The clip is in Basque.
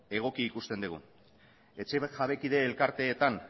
egokia ikusten dugu etxe jabekide elkarteetan